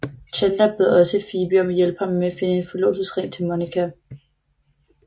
Chandler beder også Phoebe om at hjælpe ham med at finde en forlovelsesring til Monica